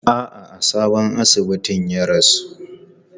A'a, a sabon asibitin ya rasu.